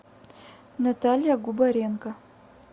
наталья губаренко